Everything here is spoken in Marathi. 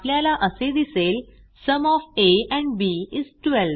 आपल्याला असे दिसेल sum of A and B is 12